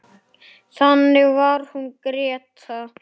Þannig var hún Gréta.